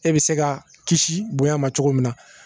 E bɛ se ka kisi bonya ma cogo min na